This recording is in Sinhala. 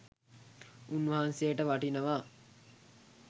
උන් වහන්සේට වටිනවා